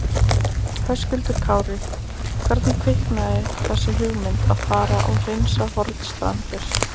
Höskuldur Kári: Hvernig kviknaði þessi hugmynd að fara og hreinsa Hornstrandir?